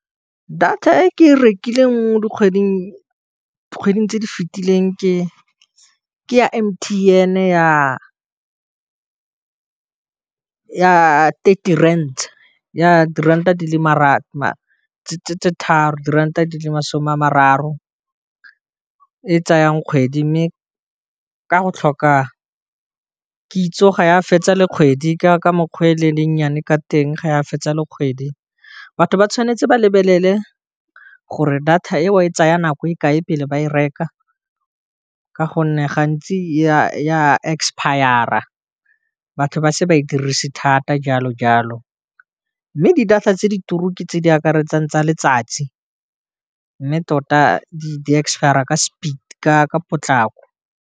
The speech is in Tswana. Data e ke e rekileng mo dikgweding tse di fitileng ke ya M_T_N ya thirty rants ya diranta di le tse tharo diranta di le masome a mararo e tsayang kgwedi mme ka go tlhoka kitso ga ya fetsa le kgwedi ka mokgwa o ne le nnyane ka teng ga ya fetsa le kgwedi, batho ba tshwanetse ba lebelele gore data eo e tsaya nako e kae pele ba e reka ka gonne gantsi ya expire-a batho ba se ba e dirise thata jalo jalo, mme di-data tse di turu ke tse di akaretsang tsa letsatsi, mme tota di expire-a ka potlako.